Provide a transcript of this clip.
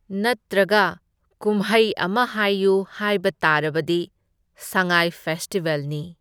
ꯅꯠꯇ꯭ꯔꯒ ꯀꯨꯝꯍꯩ ꯑꯃ ꯍꯥꯏꯌꯨ ꯍꯥꯏꯕ ꯇꯥꯔꯕꯗꯤ ꯁꯉꯥꯏ ꯐꯦꯁꯇꯤꯚꯦꯜꯅꯤ꯫